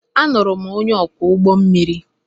Alụrụ m onye ọkwọ ụgbọ mmiri.